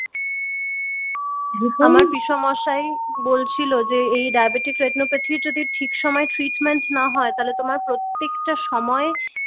আমার পিষেমশাই বলছিল যে এই diabetic retinopathy যদি ঠিক সময় ট্রীটমেন্ট না হয় তাহলে তোমার প্রত্যেক সময়!